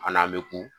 An n'an bɛ ku